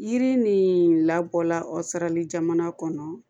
Yiri nin labɔla o sarali jamana kɔnɔ